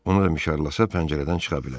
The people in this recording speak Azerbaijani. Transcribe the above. Onu da mişarlasa pəncərədən çıxa bilər.